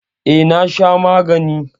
E, na sha magani.